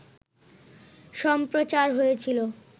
সম্প্রচার হয়েছিল